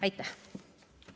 Aitäh!